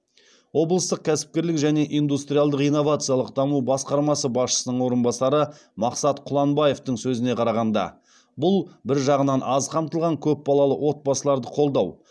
облыстық кәсіпкерлік және индустриалдық инновациялық даму басқармасы басшысының орынбасары мақсат құланбаевтың сөзіне қарағанда бұл бір жағынан аз қамтылған көпбалалы отбасыларды қолдау